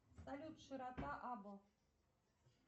салют широта абл